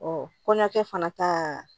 kɔɲɔkɛ fana ta